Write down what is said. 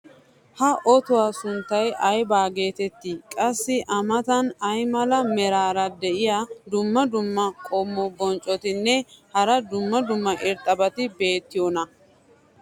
ha ottuwa sunttay ayba geetettii? qassi a matan ay mala meray diyo dumma dumma qommo bonccotinne hara dumma dumma irxxabati beetiyoonaa?